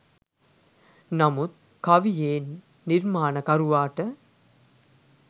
නමුත් කවියේ නිර්මාණකරුවාට